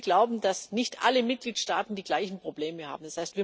Wir glauben, dass nicht alle Mitgliedstaaten die gleichen Probleme haben.